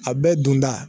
A bɛɛ dunda